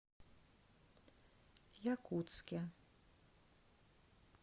якутске